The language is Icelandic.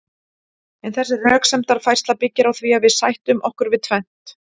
en þessi röksemdafærsla byggir á því að við sættum okkur við tvennt